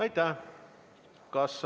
Aitäh!